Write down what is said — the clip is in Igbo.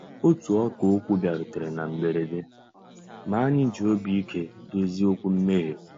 Ótú ọ̀kà òkwú bìàrùtérè ná mbérèdé, mà ànyị́ jì òbí íké dòzié òkwú mméghé.